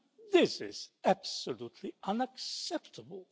This is absolutely unacceptable.